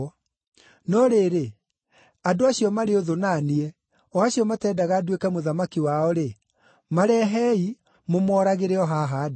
No rĩrĩ, andũ acio marĩ ũthũ na niĩ, o acio mateendaga nduĩke mũthamaki wao-rĩ, marehei, mũmooragĩre o haha ndĩ.’ ”